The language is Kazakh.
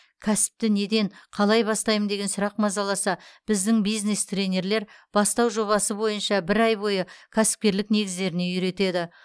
кәсіпті неден қалай бастаймын деген сұрақ мазаласа біздің бизнес тренерлер бастау жобасы бойынша бір ай бойы кәсіпкерлік негіздеріне үйретеді